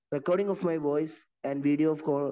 recording of voice and video of co